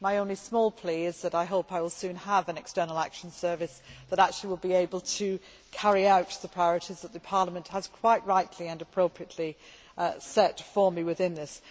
My only small plea is that I hope I will soon have an External Action Service that will actually be able to carry out the priorities which Parliament has quite rightly and appropriately set for me within this.